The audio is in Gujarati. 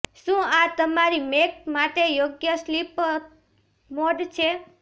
શું આ તમારી મેક માટે યોગ્ય સ્લીપ મોડ છે